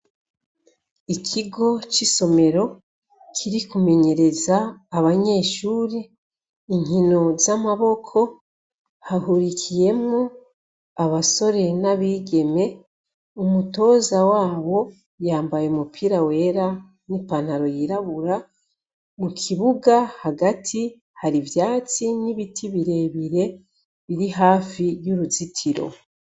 Ikigo cisomero Kiri kumenyereza abanyeshure inkino zamaboko hahurikiyemwo abasore nabigeme, umutoza wabo yambaye umupira wera nipantalo yiraburabura mukibuga Hagati hari ivyatsi nibiti birebire biri hafi yuruzitiro.